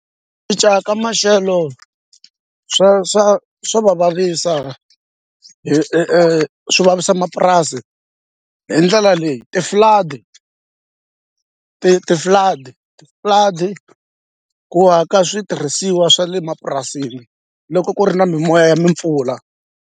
Ku cinca ka maxelo swa swa swa va vavisa swi vavisa mapurasi hi ndlela leyi ti-flood-i ti ti-flood-i ti-flood-i ku hakela switirhisiwa swa le mapurasini loko ku ri na mimoya ya mi mpfula.